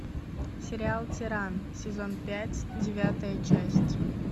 сериал тиран сезон пять девятая часть